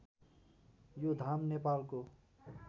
यो धाम नेपालको